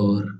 और --